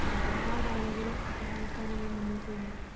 ഒരുപാട് ആളുകൾ സഹായിക്കാനായി മുന്നോട്ടുവന്നു.